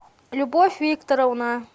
любовь викторовна